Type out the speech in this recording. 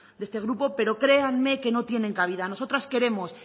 de este grupo pero créanme que no tienen cabida nosotras queremos